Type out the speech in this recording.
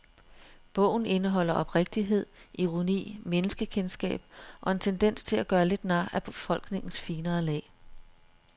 Bogen indeholder oprigtighed, ironi, menneskekendskab og en tendens til at gøre lidt nar af befolkningens finere lag.